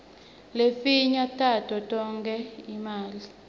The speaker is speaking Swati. lefinye tato tonga imali